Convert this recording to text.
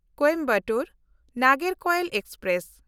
Coimbatore Nagercoil express